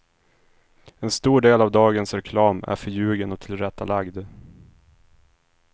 En stor del av dagens reklam är förljugen och tillrättalagd.